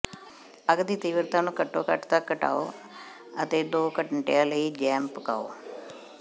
ਅੱਗ ਦੀ ਤੀਬਰਤਾ ਨੂੰ ਘੱਟੋ ਘੱਟ ਤੱਕ ਘਟਾਓ ਅਤੇ ਦੋ ਘੰਟਿਆਂ ਲਈ ਜੈਮ ਪਕਾਓ